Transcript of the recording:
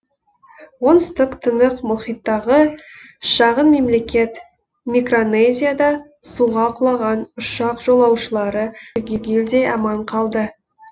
оңтүстік тынық мұхиттағы шағын мемлекет микронезияда суға құлаған ұшақ жолаушылары түгелдей аман қалды